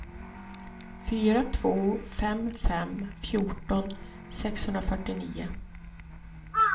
fyra två fem fem fjorton sexhundrafyrtionio